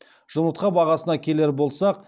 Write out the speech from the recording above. жұмыртқа бағасына келер болсақ